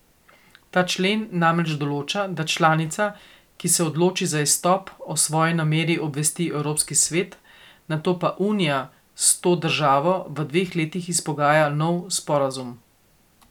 Ta člen namreč določa, da članica, ki se odloči za izstop, o svoji nameri obvesti Evropski svet, nato pa Unija s to državo v dveh letih izpogaja nov sporazum.